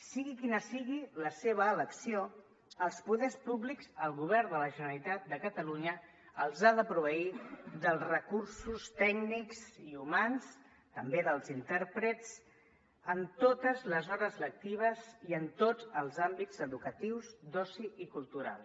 sigui quina sigui la seva elecció els poders públics el govern de la generalitat de catalunya els ha de proveir dels recursos tècnics i humans també dels intèrprets en totes les hores lectives i en tots els àmbits educatius d’oci i culturals